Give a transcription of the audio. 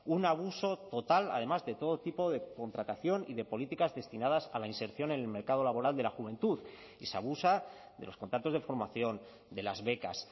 un abuso total además de todo tipo de contratación y de políticas destinadas a la inserción en el mercado laboral de la juventud y se abusa de los contratos de formación de las becas